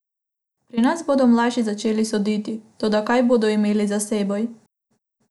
Pri nas bodo mlajši začeli soditi, toda kaj bodo imeli za seboj?